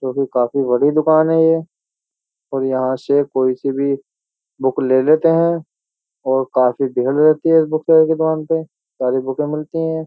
जो कि काफी बड़ी दुकान है ये और यहाँ से कोई सी भी बुक ले लेते हैं और काफी भीड़ रहती है इस बुकसेलर की दुकान पे सारी बुकें मिलती हैं।